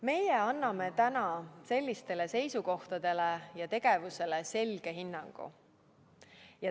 Meie anname täna sellistele seisukohtadele ja tegevusele selge hinnangu.